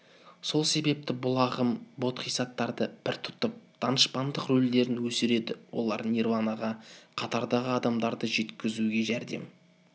сол себептен бұл ағым бодхисаттарды пір тұтып данышпандық рөлдерін өсіреді олар нирванаға қатардағы адамдарды жеткізуге жәрдем